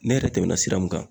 Ne yɛrɛ tɛmɛna sira mun kan